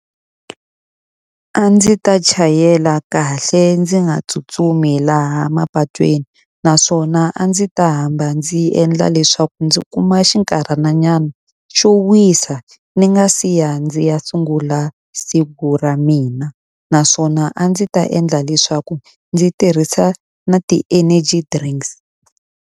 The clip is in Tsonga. A ndzi ta chayela kahle ndzi nga tsutsumi laha mapatwini, naswona a ndzi ta hamba ndzi endla leswaku ndzi kuma xinkarhananyana xo wisa ni nga siya ndzi ya sungula siku ra mina. Naswona a ndzi ta endla leswaku ndzi tirhisa na ti-energy drinks.